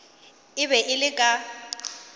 e be e le ka